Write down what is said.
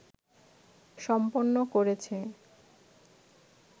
সম্পন্ন করেছে